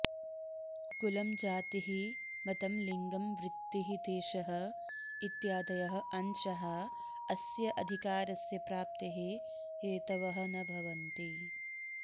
कुलं जातिः मतं लिङ्गं वृत्तिः देशः इत्यादयः अंशाः अस्य अधिकारस्य प्राप्तेः हेतवः न भवन्ति